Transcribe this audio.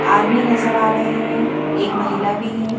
आदमी नजर आ रहे हैं एक महिला भी है।